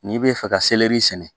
N'i bɛ fɛ ka sɛnɛ